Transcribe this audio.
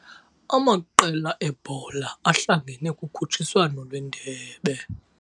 Amaqela ebhola ahlangene kukhutshiswano lwendebe.